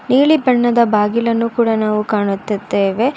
ನೀಲಿ ಬಣ್ಣದ ಬಾಗಿಲನ್ನು ಕೂಡ ನಾವು ಕಾಣುತ್ತಿದ್ದೇವೆ.